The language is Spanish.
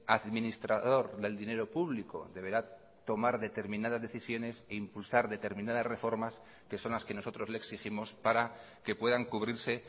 administrador del dinero público deberá tomar determinadas decisiones e impulsar determinadas reformas que son las que nosotros le exigimos para que puedan cubrirse